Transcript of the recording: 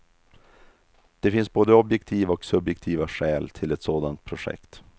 Det finns både objektiva och subjektiva skäl till ett sådant projekt.